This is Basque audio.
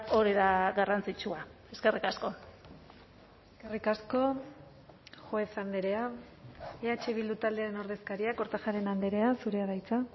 hori da garrantzitsua eskerrik asko eskerrik asko juez andrea eh bildu taldearen ordezkaria kortajarena andrea zurea da hitza